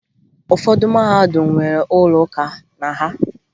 Ụfọdụ mahadum nwere ụlọ ụka na ha